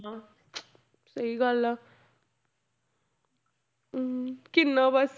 ਸਹੀ ਗੱਲ ਆ ਹਮ ਕਿੰਨਾ ਬਸ।